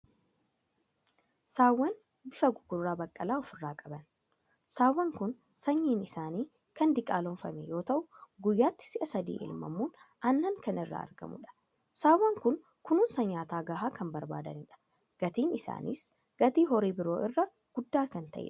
Saawwan bifa gugurraa baqqalaa ofirraa qaban. Saawwan kun sanyiin isaanii kan diqaalomfame yoo ta'u, guyyaatti si'a sadii elmamuun aannan kan irraa argamudha. Saawwan kun kunuunsaa nyaata gahaa kan barbaadanidha. Gatiin isaaniis gatii horii biroo irra guddaa kan ta'edha.